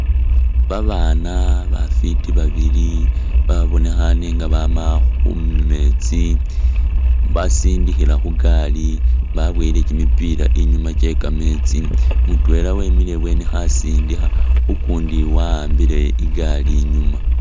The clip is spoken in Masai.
Babaana bafiti babili babonekhane nga baama khumeetsi basindikhila khugaali baboyele kimipiila inyuma kye kameetsi mutwela wemile ibweni khasindikha ukundi wa'ambile igaali inyuma.